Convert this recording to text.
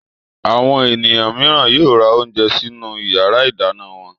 Àwọn ènìyàn mìíràn yóò ra oúnjẹ sinú ìyàrá-ìdáná wọn.